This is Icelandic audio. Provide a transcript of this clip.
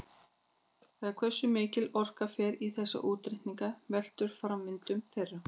Það hversu mikil orka fer í þessa útreikninga veltur á framvindu þeirra.